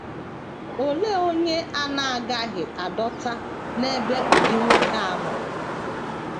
Olee onye a na - agaghị adọta n’ebe ụdị nwoke a nọ?